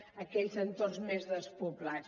a aquells entorns més despoblats